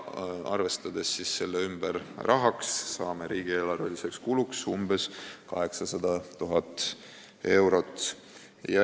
Arvestades selle ümber rahaks, saame riigieelarveliseks kuluks umbes 800 000 eurot.